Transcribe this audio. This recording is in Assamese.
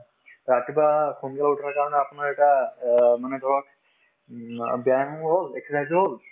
ৰাতিপুৱা সোনকালে উঠাৰ কাৰণে আপোনাৰ এটা অ মানে ধৰক উম অ ব্যায়াম হল exercise হল